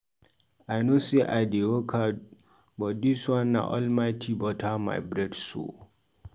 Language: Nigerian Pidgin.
I know sey I dey work hard but dis one na Almighty butter my bread so.